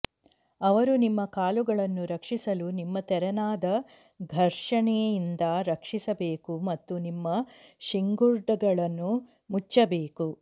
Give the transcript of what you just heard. ಅವರು ನಿಮ್ಮ ಕಾಲುಗಳನ್ನು ರಕ್ಷಿಸಲು ನಿಮ್ಮ ತೆರನಾದ ಘರ್ಷಣೆಯಿಂದ ರಕ್ಷಿಸಬೇಕು ಮತ್ತು ನಿಮ್ಮ ಶಿಂಗುರ್ಡ್ಗಳನ್ನು ಮುಚ್ಚಬೇಕು